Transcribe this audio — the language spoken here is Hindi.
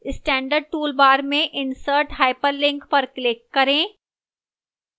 standard toolbar में insert hyperlink पर click करें